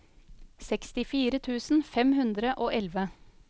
sekstifire tusen fem hundre og elleve